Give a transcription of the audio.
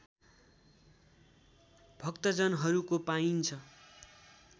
भक्तजनहरूको पाइन्छ